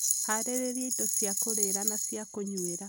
Harĩrĩria indo cia kũrĩĩra na cia kũnyuĩra